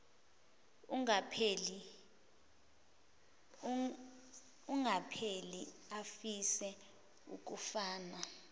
engapheli afise ukufana